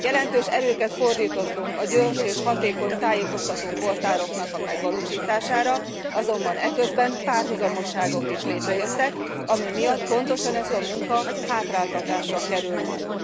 Jelentős erőket fordítottunk a gyors és hatékony tájékoztató portáloknak a megvalósítására, azonban eközben párhuzamosságok is létrejöttek, ami pontosan ezt a munkát hátráltatja majd.